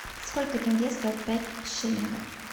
сколько тенге стоит пять шиллингов